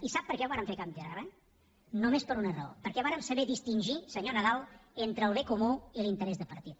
i sap per què ho vàrem fer a canvi de res només per una raó perquè vàrem saber distingir senyor nadal entre el bé comú i l’interès de partit